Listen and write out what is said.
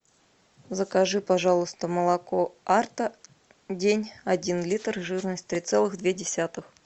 закажи пожалуйста молоко арта день один литр жирность три целых две десятых